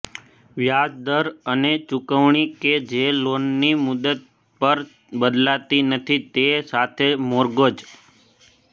વ્યાજ દર અને ચુકવણી કે જે લોનની મુદત પર બદલાતી નથી તે સાથે મોર્ગેજ